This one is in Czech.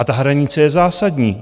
A ta hranice je zásadní.